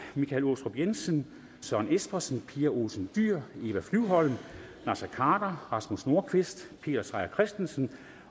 michael aastrup jensen søren espersen pia olsen dyhr eva flyvholm naser khader rasmus nordqvist peter seier christensen